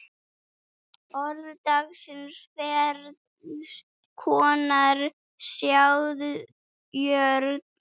Orð dagsins Ferns konar sáðjörð